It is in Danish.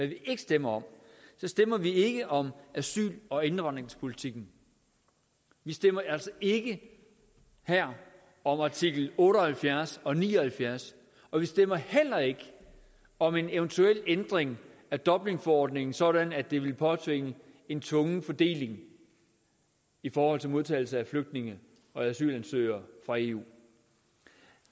vi ikke stemmer om vi stemmer ikke om asyl og indvandringspolitikken vi stemmer altså ikke her om artikel otte og halvfjerds og artikel ni og halvfjerds og vi stemmer heller ikke om en eventuel ændring af dublinforordningen sådan at det ville påtvinge en tvungen fordeling i forhold til modtagelse af flygtninge og asylansøgere fra eu